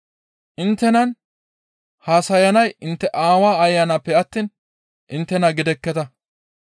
Inttenan haasayanay intte Aawa Ayanappe attiin inttena gidekketa.